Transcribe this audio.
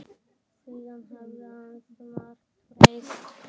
Síðan hefur ansi margt breyst.